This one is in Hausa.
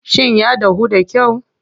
Shin ya dahu da kyau?